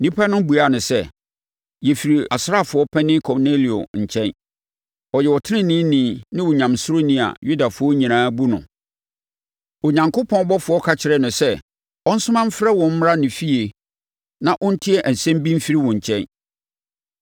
Nnipa no buaa no sɛ, “Yɛfiri asraafoɔ panin Kornelio nkyɛn. Ɔyɛ ɔteneneeni ne Onyamesuroni a Yudafoɔ nyinaa bu no. Onyankopɔn ɔbɔfoɔ ka kyerɛɛ no sɛ ɔnsoma mfrɛ wo mmra ne fie na ɔntie asɛm bi mfiri wo nkyɛn.”